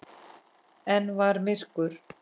Enn var myrkur.